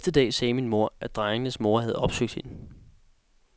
Næste dag sagde min mor, at drengenes mor havde opsøgt hende.